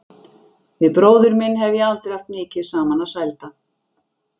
Við bróður minn hef ég aldrei haft mikið saman að sælda.